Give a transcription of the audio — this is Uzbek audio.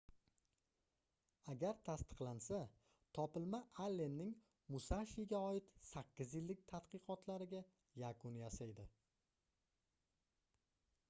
agar tasdiqlansa topilma allenning musashiga oid sakkiz yillik tadqiqotlariga yakun yasaydi